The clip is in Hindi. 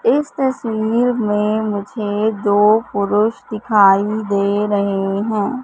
इस तस्वीर में मुझे दो पुरुष दिखाई दे रहे हैं।